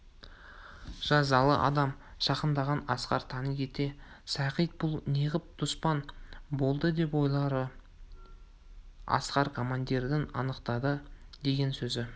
жазалы адам жақындағанда асқар тани кетті сағит бұл неғып дұспан болды деп ойлады асқар командирдің анықтадық деген сөзі